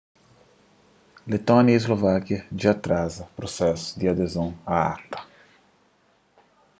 letónia y slovákia dja atraza prusesu di adezon a acta